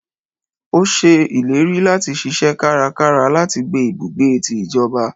o ṣe ìlérí lati ṣiṣẹ kára kára láti gbé ibùgbé tí ìjọba